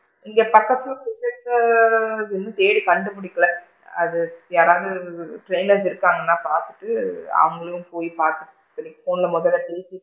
இங்க பக்கத்துல இங்க வந்து இன்னும் தேடி கண்டு பிடிக்கல அது யாராவது trainers இருப்பாங்க நான் பாத்துட்டு அவுங்களும் போய் பாத்துட்டு போன்ல முதல்ல பேசிட்டு,